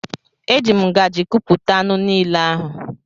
E ji m ngaji kupụta anụ niile ahụ.